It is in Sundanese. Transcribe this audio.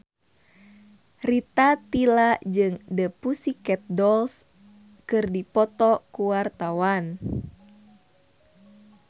Rita Tila jeung The Pussycat Dolls keur dipoto ku wartawan